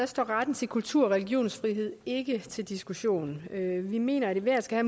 står retten til kultur og religionsfrihed ikke til diskussion vi mener at enhver skal